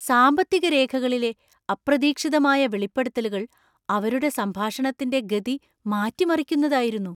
സാമ്പത്തിക രേഖകളിലെ അപ്രതീക്ഷിതമായ വെളിപ്പെടുത്തലുകൾ അവരുടെ സംഭാഷണത്തിന്‍റെ ഗതി മാറ്റിമറിക്കുന്നതായിരുന്നു.